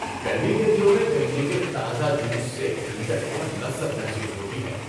گرمی کے دنوں میں گنے کے تازہ جوس سے ٹھنڈک اور لذت محسوس ہوتی ہے۔